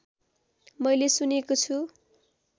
मैले सुनेको छु